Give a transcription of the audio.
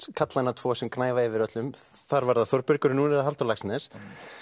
karlanna tvo sem gnæfa yfir öllum þar var það Þórbergur en núna er það Halldór Laxness